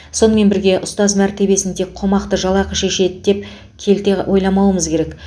сонымен бірге ұстаз мәртебесін тек қомақты жалақы шешеді деп келте ойламаумыз керек